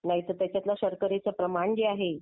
नाहीतर त्यातलं शर्करेच प्रमाण जे आहे.